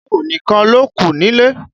Táíwò nìkan lókù nílé.